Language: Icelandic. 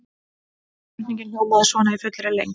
Spurningin hljómaði svona í fullri lengd: